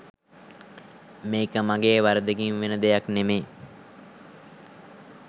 මේක මගෙ වරදකින් වෙන දෙයක් නෙමෙයි